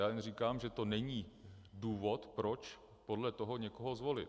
Já jen říkám, že to není důvod, proč podle toho někoho zvolit.